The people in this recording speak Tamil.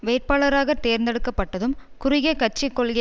வேட்பாளராக தேர்ந்தெடுக்கப்பட்டதும் குறுகிய கட்சி கொள்கை